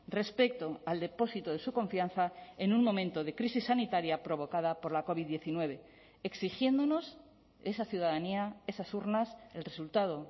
respecto al depósito de su confianza en un momento de crisis sanitaria provocada por la covid diecinueve exigiéndonos esa ciudadanía esas urnas el resultado